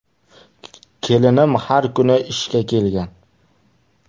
Kelinim har kuni ishga kelgan.